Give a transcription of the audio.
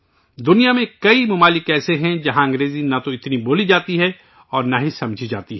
دنیا میں کئی ممالک ایسے ہیں ، جہاں انگریزی نہ تو اتنی بولی جاتی ہے اور نہ ہی سمجھی جاتی ہے